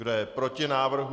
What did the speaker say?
Kdo je proti návrhu?